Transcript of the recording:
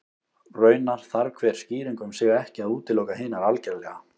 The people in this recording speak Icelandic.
Raunar þarf hver skýring um sig ekki að útiloka hinar algerlega.